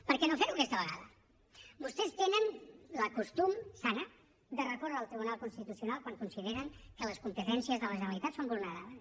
per què no fer ho aquesta vegada vostès tenen el costum sa de recórrer al tribunal constitucional quan consideren que les competències de la generalitat són vulnerades